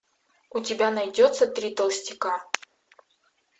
у тебя найдется три толстяка